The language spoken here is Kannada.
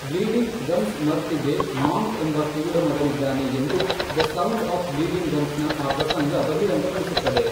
ಬ್ಲೀಡಿಂಗ್ ಗಮ್ಸ್ ಮರ್ಫಿಗೆ ಮಾಂಕ್ ಎಂಬ ಕಿವುಡ ಮಗನಿದ್ದಾನೆ ಎಂದು 'ದ ಸೌಂಡ್ ಆಫ್ ಬ್ಲೀಡಿಂಗ್ ಗಮ್ಸ್'ನ ಆ ಪ್ರಸಂಗ ಬಹಿರಂಗಪಡಿಸುತ್ತದೆ.